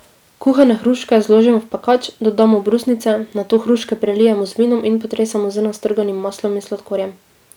Kuhane hruške zložimo v pekač, dodamo brusnice, nato hruške prelijemo z vinom in potresemo z nastrganim maslom in sladkorjem.